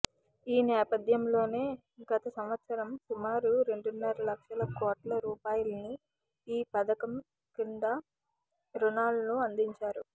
ఈ నేపథ్యంలోనే గత సంవత్సరం సుమారు రెండున్నర లక్షల కోట్ల రుపాయలను ఈ పథకం క్రింద రుణాలను అందించారు